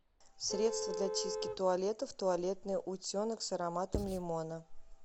средство для чистки туалетов туалетный утенок с ароматом лимона